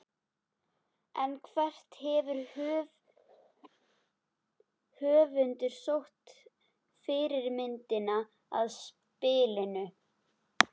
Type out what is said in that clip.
En hvert hefur höfundur sótt fyrirmyndina að spilinu?